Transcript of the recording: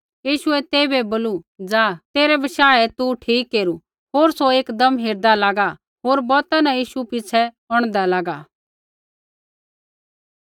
यीशुऐ तेइबै बोलू जा तेरै बशाहे तू ठीक केरू होर सौ एकदम हेरदा लागा होर बौता न यीशु पिछ़ै औंढदा लागा